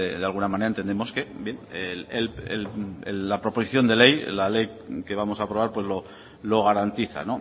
de alguna manera entendemos que la proposición de ley la ley que vamos a aprobar lo garantiza